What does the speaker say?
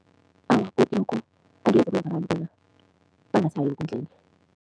Awa, godu lokho angeke kwenza bona abantu bangasayi eenkundleni.